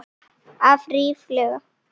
Af ríflega